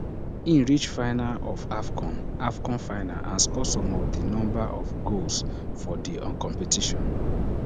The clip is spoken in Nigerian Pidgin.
e reach finals of afcon afcon finals and score some of di number of goals for di um competition